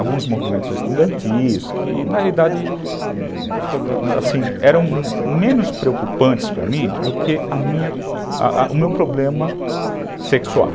alguns movimentos estudantis, que na realidade eram, assim, menos preocupantes para mim do que o meu problema sexual.